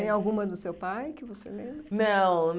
Tem alguma do seu pai que você lembra? Não